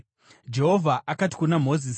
Jehovha akati kuna Mozisi,